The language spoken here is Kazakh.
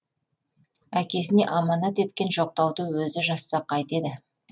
әкесіне аманат еткен жоқтауды өзі жазса қайтеді